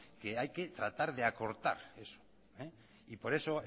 que hay que tratar de acortar eso y por eso